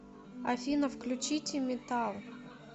афина включите метал